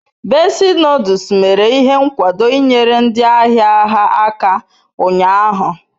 Bessi noduls mere ihe nkwado inyere ndi ahia ha aka unyahu